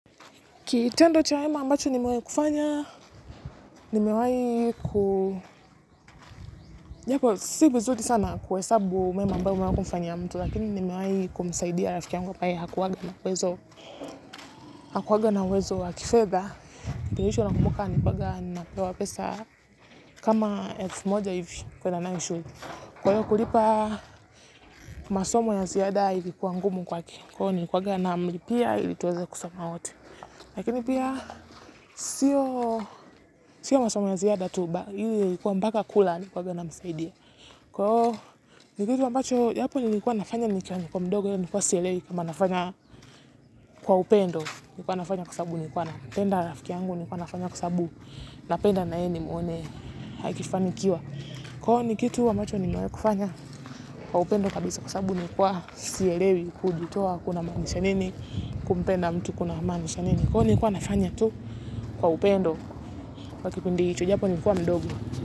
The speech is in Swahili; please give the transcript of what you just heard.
Kitendo chema ambacho nimewahi kufanya, nimewahi kuu japo, si vizuri sana kuhesabu mambo ambayo unapofanyia mtu, lakini nimewahi kumisaidia rafiki yangu ambaye hakuwaga na uwezo wa kifedha. Kitu ya mwisho nakumuka, ni mpaka ninapewa pesa kama elfu moja hivi kuenda nayo shule. Kwa hiyo kulipa masomo ya ziada ilikuwa ngumu kwake. Kwa hivyo nilikuwaga namlipia ili tuweze kusoma wote. Lakini pia, sio masomo ya ziada tu, bali ni kwamba mpaka kula nilikuwaga namsaidia. Kwaoivo, ni kitu ambacho, japo nilikuwa nafanya nilikuwa mdogo, nilikuwa sielewei, kama nafanya kwa upendo, nilikwa nafanya kwa sababu, nilikuwa nafanya kwa sababu nilikuwa nampenda rafiki yangu, nilikuwa nafanya kwa sababu, napenda na ye nimuone aikifanikiwa. Kwaoivo ni kitu ambacho, nimewahi kufanya, kwa upendo kabisa kwa sababu, nilikuwa sielewi, kujitua kunamaanisha nini, kumpenda mtu kunamaanisha nini. Kwaivo nilikuwa nafanya tu kwa upendo kwa kipindi hicho, japo nilikuwa mdogo.